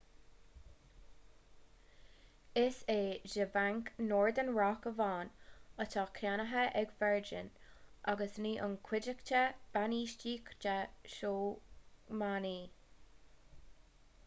is é dea-bhanc' northern rock amháin atá ceannaithe ag virgin agus ní an chuideachta bainistíochta sócmhainní